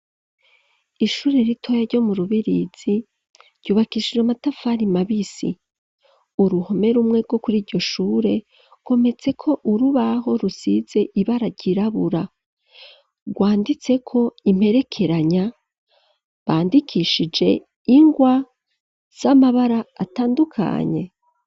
Ishure ritoya ryo mu rubirizi ryubakishije amatafari mabisi uruhome rumwerwo kuri iryo shure kometseko urubaho rusize ibararyirabura rwanditseko imperekeranya bandikishije ingwa z'amabara atandukanye.